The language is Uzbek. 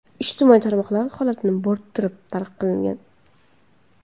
Ijtimoiy tarmoqlar holatni bo‘rttirib talqin qilingan.